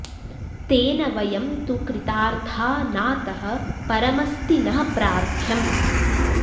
तेन वयं तु कृतार्था नातः परमस्तिः नः प्रार्थ्यम्